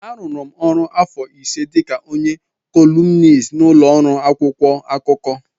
A rụrụ m ọrụ afọ ise dịka onye kọlumnist n'ụlọ ọrụ akwụkwọ akụkọ.